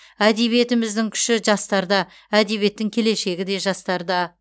әдебиетіміздің күші жастарда әдебиеттің келешегі де жастарда